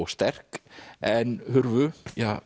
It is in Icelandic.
sterk en hurfu